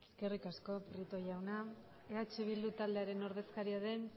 eskerrik asko prieto jauna eh bildu taldearen ordezkaria den